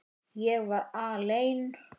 Ég var alein.